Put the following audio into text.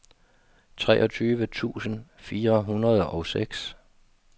treogtyve tusind fire hundrede og seks